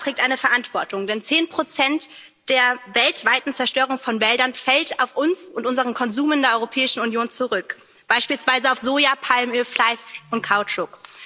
Auch Europa trägt eine Verantwortung, denn 10 der weltweiten Zerstörung von Wäldern fallen auf uns und unseren Konsum in der Europäischen Union zurück, beispielsweise auf Soja, Palmöl, Fleisch und Kautschuk.